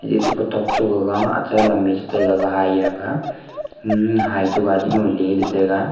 eto kutok to gaga acha lam ye cha taiga gaga hai rang um hai to gaiti no leley tega.